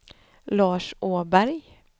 Lars Åberg